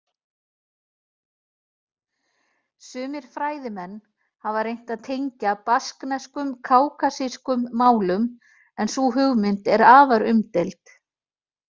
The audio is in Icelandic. Sumir fræðimenn hafa reynt að tengja basknesku kákasískum málum en sú hugmynd er afar umdeild.